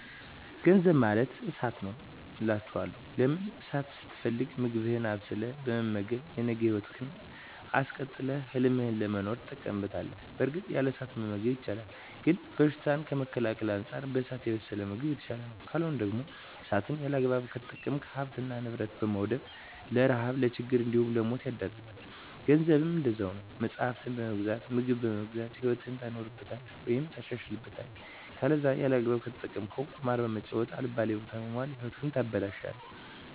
ገንዘብ ማለት እሳት ነዉ አላቸዋለሁ። ለምን እሳትን ስትፈልግ ምግብህን አብስለህ በመመገብ የነገ ህይወትህን አስቀጥለህ ህልምህን ለመኖር ትጠቀምበታለህ በእርግጥ ያለ እሳት መመገብ ይቻላል ግን በሽታን ከመከላከል አንፃር በእሳት የበሰለ ምግብ የተሻለ ነዉ። ካልሆነ ደግሞ እሳትን ያለአግባብ ከተጠቀምክ ሀብትን ንብረት በማዉደም ለረሀብ ለችግር እንዲሁም ለሞት ይዳርጋል። ገንዘብም እንደዛዉ ነዉ መፅሀፍትን በመግዛት ምግብን በመግዛት ህይወትህን ታኖርበታለህ ወይም ታሻሽልበታለህ ከለዛ ያለአግባብ ከተጠቀምከዉ ቁማር በመጫወት አልባሌ ቦታ በመዋል ህይወትህን ታበላሸለህ።